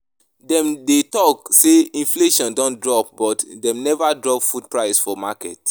Dem dey talk say inflation don drop but dem never drop food prices for market